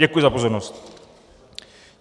Děkuji za pozornost.